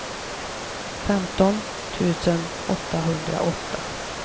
femton tusen åttahundraåtta